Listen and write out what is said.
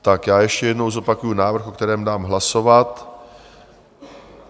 Tak já ještě jednou zopakuju návrh, o kterém dám hlasovat.